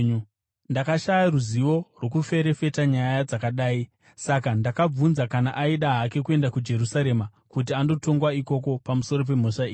Ndakashaya ruzivo rwokuferefeta nyaya dzakadai; saka ndakabvunza kana aida hake kuenda kuJerusarema kuti andotongwa ikoko pamusoro pemhosva idzi.